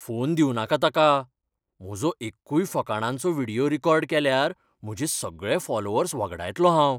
Phone दिवूं नाका ताका. म्हजो एक्कूय फकाणांचो व्हिडियो रेकॉर्ड केल्यार, म्हजे सगळे फॉलोअर्स वगडायतलों हांव.